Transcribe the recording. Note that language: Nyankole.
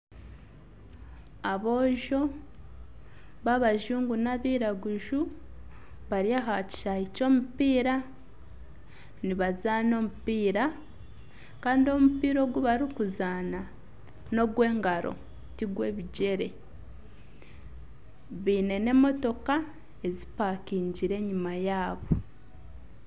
Aboojo babajungu n'abairaguzu bari aha kishaayi ky’omupiira nibazaana omupiira kandi omupiira ogu barikuzaana nogw'engaro tigw'ebigyere baine n'emotooka ezimpakingire enyuma yaabo.